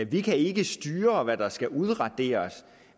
vi kan ikke styre hvad der skal udraderes